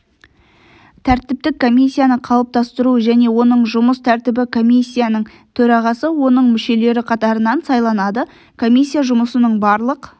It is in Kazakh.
тәртіптік комиссияны қалыптастыру және оның жұмыс тәртібі комиссияның төрағасы оның мүшелері қатарынан сайланады комиссия жұмысының барлық